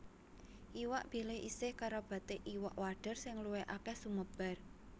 Iwak Bilih isih karabaté Iwak Wader sing luwih akèh sumebar